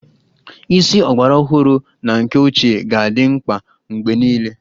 Isi ọgbaraọhụrụ na nke ochie ga-adị mkpa mgbe niile